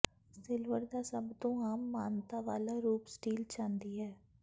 silver ਦਾ ਸਭ ਤੋਂ ਆਮ ਮਾਨਤਾ ਵਾਲਾ ਰੂਪ ਸਟੀਲ ਚਾਂਦੀ ਹੈ